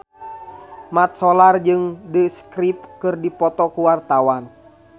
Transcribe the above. Mat Solar jeung The Script keur dipoto ku wartawan